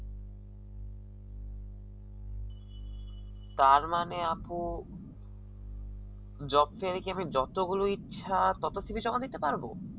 তারমানে আপু job fair একি আমি কি যতগুলো ইচ্ছা তত cv জমা দিতে পারব